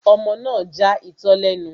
Ọmọ náà ja itọ́ lẹ́nu